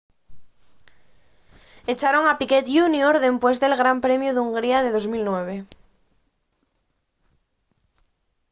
echaron a piquet jr dempués del gran premiu d'hungría de 2009